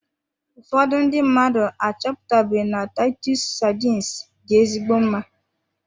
Ụfọdụ ndị mmadụ achọpụtabe na titus sardines dị ezigbo mma.